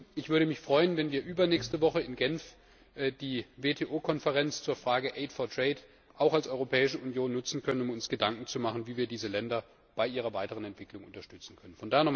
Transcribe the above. Ich würde mich freuen, wenn wir übernächste Woche in Genf die WTO Konferenz zur Frage Aid for Trade auch als Europäische Union nutzen könnten, um uns Gedanken zu machen, wie wir diese Länder bei ihrer weiteren Entwicklung unterstützen können.